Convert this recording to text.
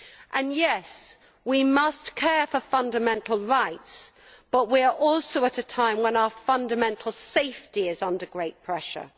And yes, we must care for fundamental rights, but we are also at a time when our fundamental safety is under great pressure.